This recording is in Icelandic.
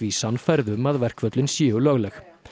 sannfærð um að verkföllin séu lögleg